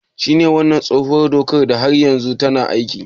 Shin wannan tsohuwar dokar har yanzu tana aiki?